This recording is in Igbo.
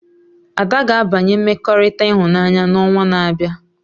Ada ga-abanye mmekọrịta ịhụnanya na onwa na-abịa